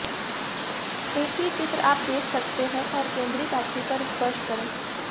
एक ही चित्र आप देख सकते हैं और केंद्रीय बैटरी पर स्पर्श करें